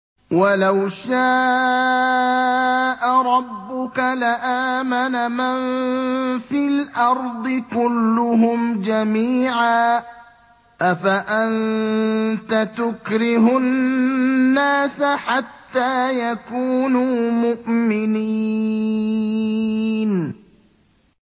وَلَوْ شَاءَ رَبُّكَ لَآمَنَ مَن فِي الْأَرْضِ كُلُّهُمْ جَمِيعًا ۚ أَفَأَنتَ تُكْرِهُ النَّاسَ حَتَّىٰ يَكُونُوا مُؤْمِنِينَ